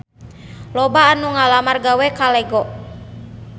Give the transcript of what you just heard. Loba anu ngalamar gawe ka Lego